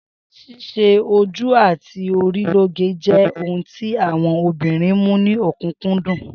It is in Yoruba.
S̩ís̩e ojú àti orí lóge jé̩ ohun tí àwo̩n obìnrin mú ní ò̩kúnkúndùn